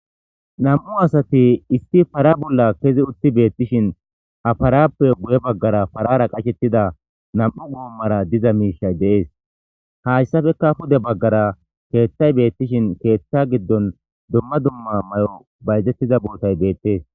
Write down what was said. nam7u asati isti para bolla kezi utti beettishin haparappe guye baggara parara qashettida nam7u goommara diza miishay deees hayssafeka pude baggara keeththay beettishin keeththa giddon dumma dumma may7o bayzettiza bootay beettees